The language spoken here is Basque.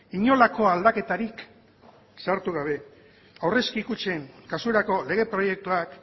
inolako aldaketarik sartu gabe aurrezki kutxen kasurako lege proiektuak